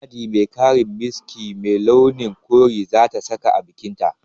Yadi mai karen miski mai launin kore za ta saka a bikinta